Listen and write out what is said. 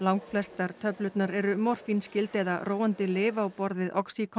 langflestar töflurnar eru morfínskyld eða róandi lyf á borð við